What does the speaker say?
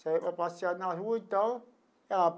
Saía para passear na rua e tal ah.